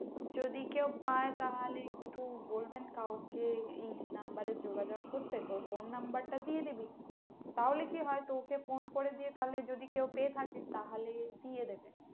যদি কেউ পায় তাহলে একটু বলবেন কাউকে এই number এ যোগাযোগ করতে তোর phone number টা দিয়ে দিবি, তাহলে কি হয় তোকে ফোন করে দিয়ে তাহলে যদি কেউ পেয়ে থাকে তাহলে দিয়ে দেবে।